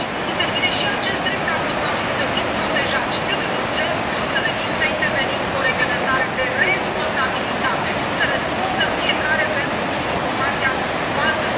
Aici intervine și acest drept al consumatorului, să fim protejați, și trebuie urgent să intervenim cu o reglementare de responsabilitate să răspundă fiecare pentru informația falsă.